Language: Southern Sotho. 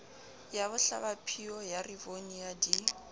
ya bohlabaphio ya rivonia di